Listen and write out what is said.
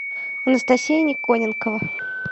анастасия никоненкова